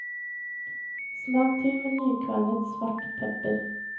Smak til med nykvernet, svart pepper.